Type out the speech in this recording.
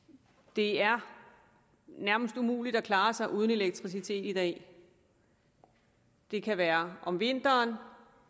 det er nærmest umuligt at klare sig uden elektricitet i dag det kan være om vinteren